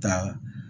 Taa